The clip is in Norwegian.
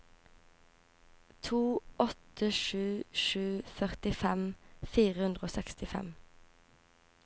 to åtte sju sju førtifem fire hundre og sekstifem